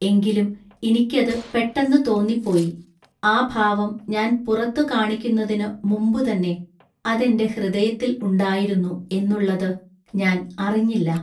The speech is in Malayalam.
എങ്കിലും ഇനിക്കതു പെട്ടെന്നു തോന്നിപ്പോയി, ആ ഭാവം ഞാൻ പുറത്തു കാണിക്കുന്നതിനു മുമ്പു തന്നെ അതെന്റെ ഹൃദയത്തിൽ ഉണ്ടായിരുന്നു എന്നുള്ളതു ഞാൻ അറിഞ്ഞില്ല.